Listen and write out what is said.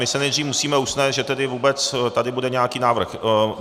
My se nejdříve musíme usnést, že tedy vůbec tady bude nějaký návrh.